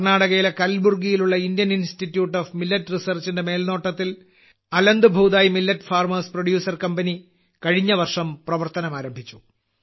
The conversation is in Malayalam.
കർണാടകയിലെ കൽബുർഗിയിലുള്ള ഇന്ത്യൻ ഇൻസ്റ്റിറ്റ്യൂട്ട് ഓഫ് മില്ലറ്റ് റിസർച്ചിന്റെ മേൽനോട്ടത്തിൽ Aland Bhutai millet farmers producer company കഴിഞ്ഞ വർഷം പ്രവർത്തനം ആരംഭിച്ചു